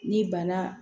Ni bana